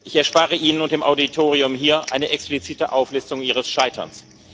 Ich erspare Ihnen und dem Auditorium hier eine explizite Auflistung Ihres Scheiterns.